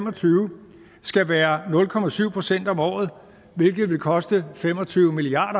og tyve skal være nul procent procent om året hvilket vil koste fem og tyve milliard